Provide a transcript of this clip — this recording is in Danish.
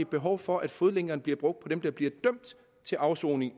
behov for at fodlænkerne bliver brugt på dem der bliver dømt til afsoning